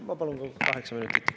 Ma palun kaheksa minutit.